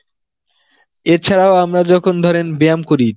এছাড়াও আমরা যখন ধরেন ব্যায়াম করি